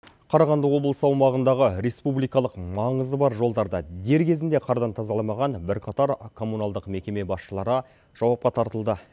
қарағанды облысы аумағындағы республикалық маңызы бар жолдарда дер кезінде қардан тазаламаған бірқатар коммуналдық мекеме басшылары жауапқа тартылды